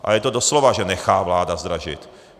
A je to doslova, že nechá vláda zdražit.